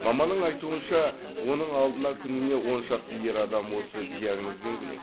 маманның айтуынша оның алдына күніне он шақты ер адам осы диагнозбен келеді